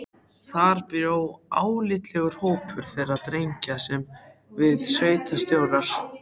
Þar bjó álitlegur hópur þeirra drengja sem við sveitarstjórar